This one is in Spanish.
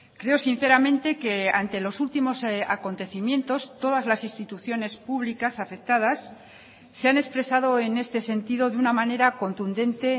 creo sinceramente que ante los últimos acontecimientos todas las instituciones públicas afectadas se han expresado en este sentido de una manera contundente